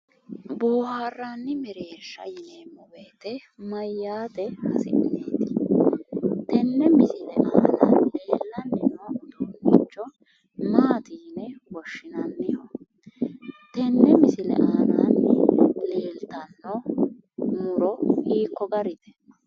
Boohaarranni mereersha yineemmo woyite maayyaate hasi'neeti? Tenne misile aana leellanni noo haqqicho maati yine woshshinanni? Tenne misile aanaanni leeltanno mu'ro hiiko garite?